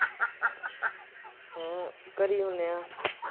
ਹੂੰ। ਘਰੇ ਈ ਹੁੰਦੇ ਆ।